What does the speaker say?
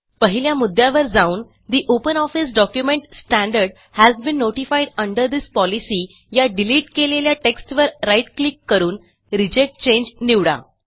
पहिल्या मुद्यावर जाऊन the OpenOffice document standard has been notified under this policyया डिलिट केलेल्या टेक्स्टवर राईट क्लिक करून रिजेक्ट चांगे निवडा